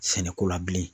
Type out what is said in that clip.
Sɛnɛko la bilen